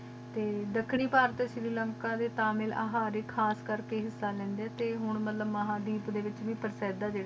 T ਦਖਣੀ ਪਰਤ Sri Lanka D Tamil ਆ Harris ਖਾਸ ਕਰਕੇ ਹਿਸਾ ਲੇੰਦਾ ਤੇ ਹਨ ਮਤਲਬ ਮਹਾ ਦੀ ਦੇ ਵਿਚ